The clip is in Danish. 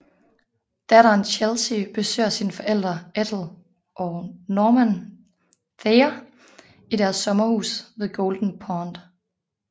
Datteren Chelsey besøger sine forældre Ethel og Norman Thayer i deres sommerhus ved Golden Pond